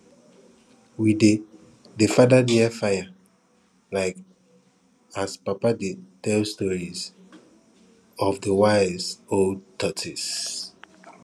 we dey dey father near fire um as papa dey tell stories of de wise old tortoise